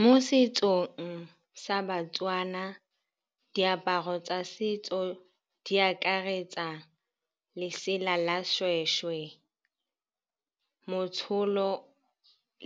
Mo setsong sa ba-Tswana diaparo tsa setso di akaretsa lesela la seshweshwe, motsholo